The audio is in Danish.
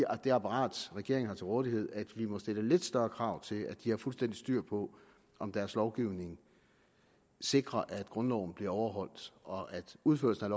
og det apparat regeringen har til rådighed at vi må stille lidt større krav til at de har fuldstændig styr på om deres lovgivning sikrer at grundloven bliver overholdt og at udførelsen af